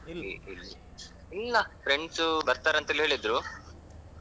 ಅಹ್ ಇಲ್ ಇಲ್ಲಾ friends ಬರ್ತಾರಂತಲೇ ಹೇಳಿದ್ರು.